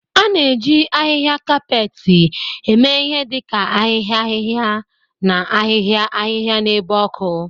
A na-eji ahihia kapeeti eme ihe dị ka ahịhịa ahịhịa na ahịhịa ahịhịa n'ebe ọkụ.